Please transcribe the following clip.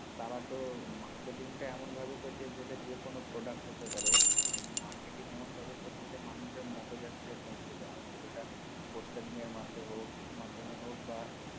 তারা তো marketing টা এমন ভাবে করছে যেটা যেকোন product হতে পারে marketing এমন ভাবে করছে যে মানুষ মগজ আস্ত্রে পৌছে দেওয়া হচ্ছে যেটা postering এর মাধে হক মাধ্যমে হক বা